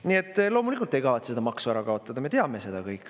Nii et loomulikult te ei kavatse seda maksu ära kaotada, me teame seda kõik.